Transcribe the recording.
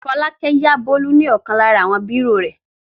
Fọlákẹ́ yá Bólú ní ọ̀kan lára àwọn bírò rẹ̀.